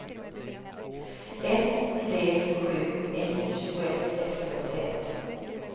ett tre sju ett tjugoett sexhundraåttioett